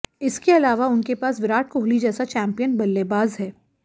इसके अलावा उनके पास विराट कोहली जैसा चैंपियन बल्लेबाज है